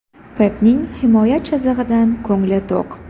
Pepning himoya chizig‘idan ko‘ngli to‘q.